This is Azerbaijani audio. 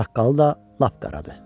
Saqqalı da lap qaradır.